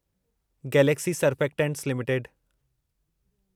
Galaxy surfactants limited